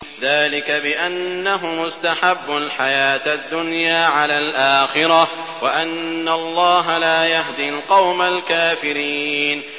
ذَٰلِكَ بِأَنَّهُمُ اسْتَحَبُّوا الْحَيَاةَ الدُّنْيَا عَلَى الْآخِرَةِ وَأَنَّ اللَّهَ لَا يَهْدِي الْقَوْمَ الْكَافِرِينَ